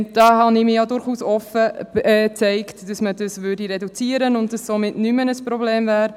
Hier habe ich mich durchaus offen für eine Reduktion gezeigt, sodass dies kein Problem mehr wäre.